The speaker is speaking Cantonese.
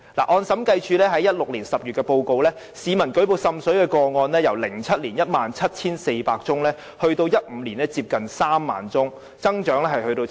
按照審計署2016年10月的報告，市民舉報滲水個案數目由2007年的 17,400 宗，上升至2015年近 30,000 宗，增長達七成。